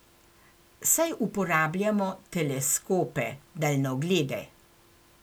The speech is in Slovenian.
Saj uporabljamo teleskope, daljnoglede.